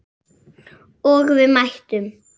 Og við mættum.